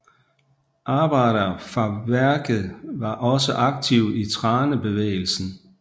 Arbejdere fra værket var også aktive i Thranebevegelsen